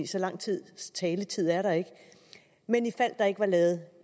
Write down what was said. så lang tids taletid er der ikke men ifald der ikke var lavet